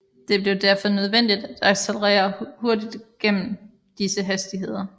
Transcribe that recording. Det blev derfor nødvendigt at accelerere hurtigt gennem disse hastigheder